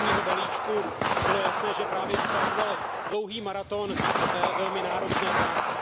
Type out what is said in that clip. zimního balíčku, bylo jasné, že právě odstartoval dlouhý maraton velmi náročné práce.